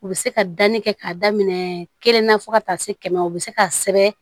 U bɛ se ka danni kɛ k'a daminɛ kelen na fo ka taa se kɛmɛ o bɛ se ka sɛbɛn